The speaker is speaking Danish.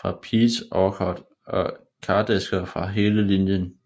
fra Peach Orchard og kardæsker fra hele linjen